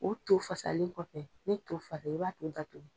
O to fasalen kɔfɛ, ni to fara, i b'a tɔ datugu